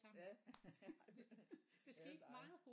Ja ej det er jo dig